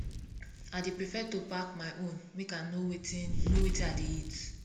i dey prefer to pack my own make i know wetin know wetin i dey eat